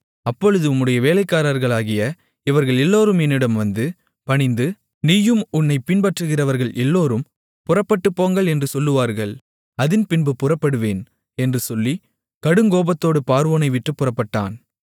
அப்பொழுது உம்முடைய வேலைக்காரர்களாகிய இவர்கள் எல்லோரும் என்னிடம் வந்து பணிந்து நீயும் உன்னைப் பின்பற்றுகிறவர்கள் எல்லோரும் புறப்பட்டுப்போங்கள் என்று சொல்லுவார்கள் அதின்பின்பு புறப்படுவேன் என்று சொல்லி கடுங்கோபத்தோடு பார்வோனை விட்டுப் புறப்பட்டான்